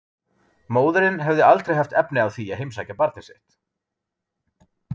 Móðirin hefði aldrei haft efni á því að heimsækja barnið sitt.